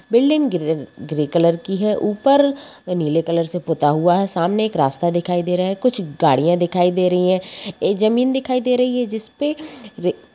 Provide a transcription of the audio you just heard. Building grey colour की है ऊपर नीले कलर से पुता हुआ है सामने एक रास्ता दिखाई दे रहा है कुछ गाड़ियां दिखाई दे रही है एक जमीन दिखाई दे रही है। जिसपे र--